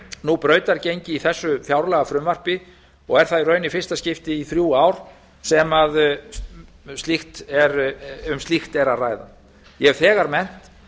nú brautargengi í þessu fjárlagafrumvarpi og er það í raun í fyrsta skipti í þrjú ár sem um slíkt er að ræða ég hef þegar nefnt